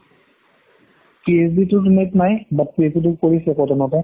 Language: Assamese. net নাই but তো কৰিছে কতনৰ পা